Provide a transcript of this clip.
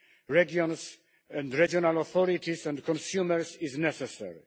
regions and regional authorities and consumers is necessary.